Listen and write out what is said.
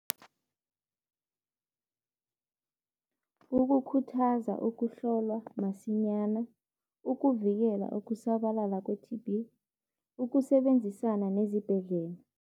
Ukukhuthaza ukuhlolwa masinyana, ukuvikela ukusabalala kwe-T_B, ukusebenzisana nezibhedlela.